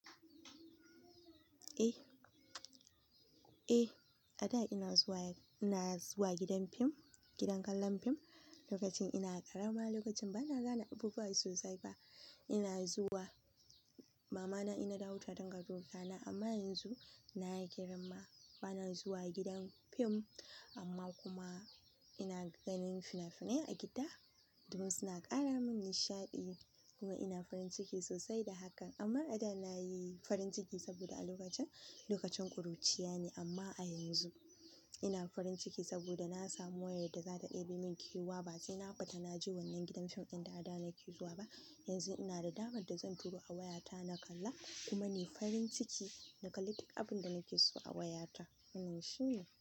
Eh, a da ina zuwa gidan fim, gidan kallon fim lokacin ina ƙarama, lokacin bana gane abubuwa sosai fa. Ina zuwa, mamana ina dawo ta dinga dukana amma yanzu na yi girma bana zuwa gidan fim amma kuma ina ganin fina-finai a gida. Duk suna ƙara min nishaɗi kuma ina farin ciki sosai da hakan. Amma a da nayi farin ciki saboda a lokacin, lokacin ƙuruciya ne amma a yanzu ina farin ciki saboda na samu wayar da za ta ɗebi min kewa ba sai na fita na je wannan gidan fim inda a da nake zuwa ba. Yanzu ina da damar da zan turo a wayata na kalla kuma ni farin ciki na kalli duk abin da nake so a wayata. Nan shi ne.